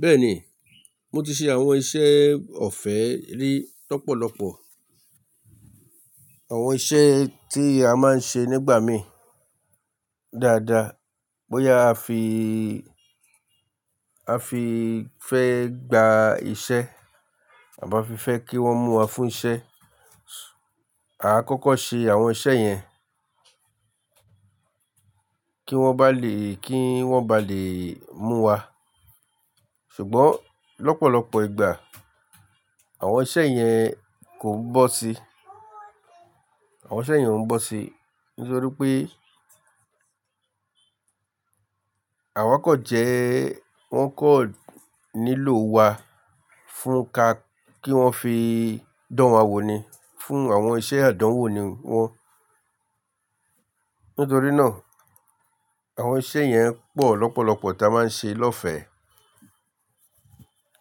Bẹ́ẹ̀ni, mo ti ṣe àwọn iṣẹ́ ọ̀fẹ́ rí lọ́pọ̀lọpọ̀. Àwọn iṣẹ́ tí a máa ń ṣe nígbà mí dáadáa bóyá a fi, a fi fẹ́ gba iṣẹ́ àbá fi fẹ́ kí wọ́n mú wa fún iṣẹ́. A kọ́kọ́ ṣe àwọn iṣẹ́ yẹn kí wọ́n bá lè, kí wọ́n bá lè mú wa. Ṣùgbọ́n lọ́pọ̀lọpọ̀ ìgbà àwọn iṣẹ́ yẹn kò bóó sí, àwọn iṣẹ́ yẹn òún bóó sí nítorí pé àwa kọ̀ jẹ́ wọ́n kọ̀ nílò wa fún ka kí wọ́n fi dán wa wò ni, fún àwọn iṣẹ́ àdánwò ni wọ́n. Nítorí náà àwọn iṣẹ́ yẹn pọ̀ lọ́pọ̀lọpọ̀ tí a máa ń ṣe lọ́fẹ̀ẹ́.